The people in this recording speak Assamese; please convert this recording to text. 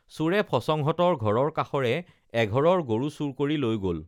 চোৰে ফচঙহঁতৰ ঘৰৰ কাষৰে এঘৰৰ গৰু চুৰ কৰি লৈ গল